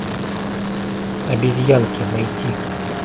обезьянки найти